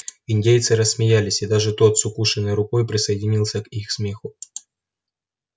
индейцы рассмеялись и даже тот с укушенной рукой присоединился к их смеху